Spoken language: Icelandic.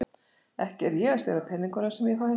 Ekki er ég að stela peningunum sem ég fæ.